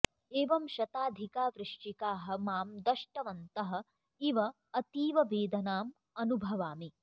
एवं शताधिका वृश्चिकाः मां दष्टवन्तः इव अतीववेदनाम् अनुभवामि